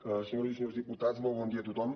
senyors i senyors diputats molt bon dia a tothom